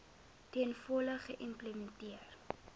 ten volle geïmplementeer